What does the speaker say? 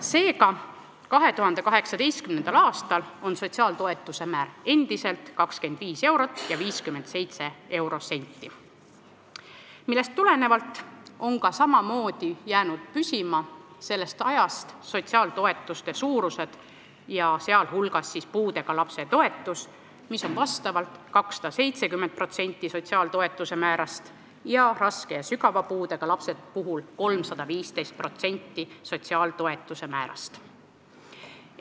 Seega, 2018. aastal on sotsiaaltoetuste määr endiselt 25 eurot ja 57 senti, millest tulenevalt on samamoodi jäänud sellest ajast püsima sotsiaaltoetuste suurused, sh on puudega lapse toetus 270% sotsiaaltoetuste määrast ning raske ja sügava puudega lapse toetus 315% sotsiaaltoetuste määrast.